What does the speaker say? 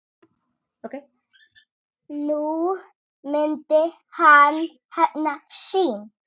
Nú myndi hann hefna sín.